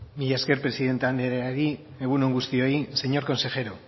mila esker presidente andereari egun on guztioi señor consejero